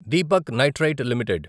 Deepak Nitrite limited